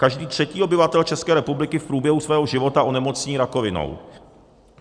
Každý třetí obyvatel České republiky v průběhu svého života onemocní rakovinou.